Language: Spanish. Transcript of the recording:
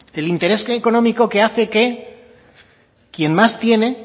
el interés económico que hace que quien más tiene